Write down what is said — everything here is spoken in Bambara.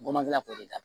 Gɔbɔni k'o de kan